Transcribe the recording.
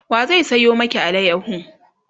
wa zai sayo maki alayaho?